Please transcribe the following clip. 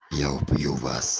я убью вас